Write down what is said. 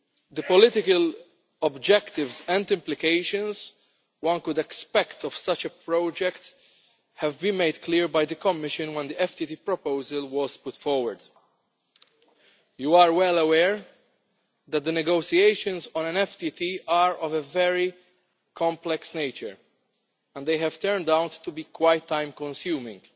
The political objectives and implications which could be expected from such a project were made clear by the Commission when the FTT proposal was put forward. You are well aware that the negotiations on an FTT are of a very complex nature and they have turned out to be quite time consuming.